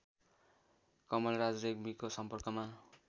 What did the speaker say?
कमलराज रेग्मीको सम्पर्कमा